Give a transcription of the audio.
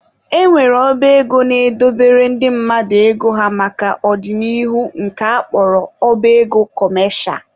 E nwere ọba ego na-edobere ndị mmadụ ego ha maka ọ dị n'ihu nke a kpọrọ ọba ego kọmesha